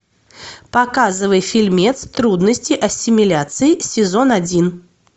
показывай фильмец трудности ассимиляции сезон один